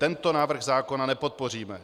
Tento návrh zákona nepodpoříme.